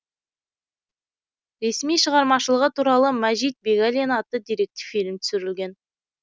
ресми шығармашылығы туралы мажит бегалин атты деректі фильм түсірілген